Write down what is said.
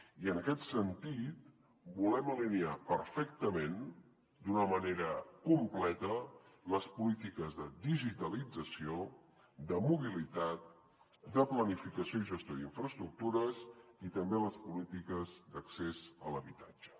i en aquest sentit volem alinear perfectament d’una manera completa les polítiques de digitalització de mobilitat de planificació i gestió d’infraestructures i també les polítiques d’accés a l’habitatge